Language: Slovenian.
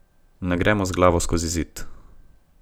Ne gremo z glavo skozi zid.